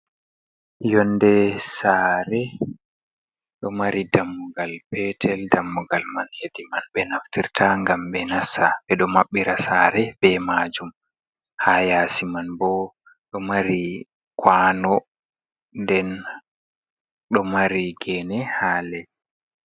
Yonde sare. Ɗo mari dammugal betel, dammugal man yedi man ɓe naftirta gam ɓedo mabbira sare be majum. Ha yasi man bo ɗo mari kwano den do mari gene ha lei.